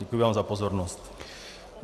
Děkuji vám za pozornost.